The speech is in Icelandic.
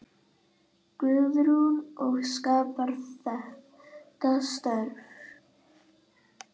Guðrún: Og skapar þetta störf?